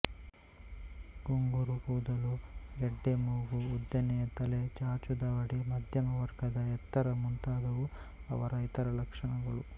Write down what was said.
ಗುಂಗುರು ಕೂದಲು ಗೆಡ್ಡೆಮೂಗು ಉದ್ದನೆಯ ತಲೆ ಚಾಚುದವಡೆ ಮಧ್ಯಮ ವರ್ಗದ ಎತ್ತರ ಮುಂತಾದುವು ಅವರ ಇತರ ಲಕ್ಷಣಗಳು